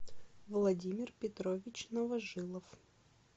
владимир петрович новожилов